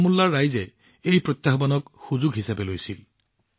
বাৰামুল্লাৰ ৰাইজে এই প্ৰত্যাহ্বানক সুযোগ হিচাপে লৈছিল